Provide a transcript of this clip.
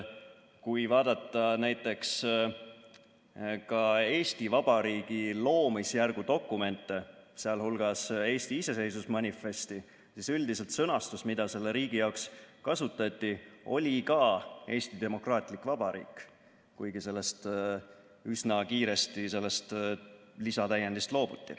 Kui vaadata näiteks Eesti Vabariigi loomisjärgu dokumente, sh Eesti iseseisvusmanifesti, siis üldiselt sõnastus, mida selle riigi nimetamiseks kasutati, oli ka "Eesti demokraatlik vabariik", kuigi sellest lisatäiendist üsna kiiresti loobuti.